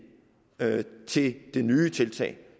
til det nye tiltag